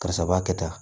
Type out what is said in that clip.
Karisa b'a kɛ tan